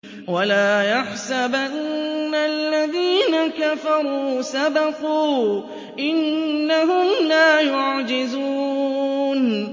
وَلَا يَحْسَبَنَّ الَّذِينَ كَفَرُوا سَبَقُوا ۚ إِنَّهُمْ لَا يُعْجِزُونَ